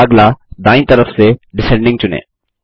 अगला दायीं तरफ से डिसेंडिंग चुनें